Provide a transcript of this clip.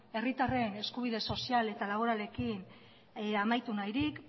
herritarren eskubide sozial eta laboralekin amaitu nahirik